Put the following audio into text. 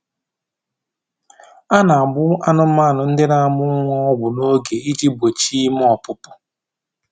A na-agba anụmanụ ndị na-amụ ọmụmụ ọgwụ n'oge iji gbochie ime ọpụpụ